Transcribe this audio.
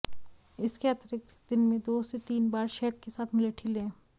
इसके अतिरिक्त दिन में दो से तीन बार शहद के साथ मुलेठी लें